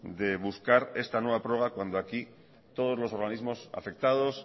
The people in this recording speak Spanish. de buscar esta nueva prorroga cuando aquí todos los organismos afectados